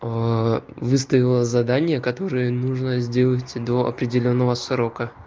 выставила задание которые нужно сделать до определённого срока